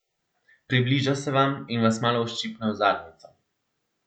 Približa se vam in vas malo uščipne v zadnjico.